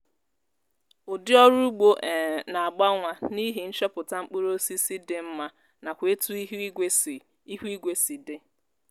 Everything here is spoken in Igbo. udi ọrụ ụgbo um na-agbanwa n' ihi nchọpụta mkpụrụosisi dị mma nakwa etu ihuigwe si ihuigwe si dị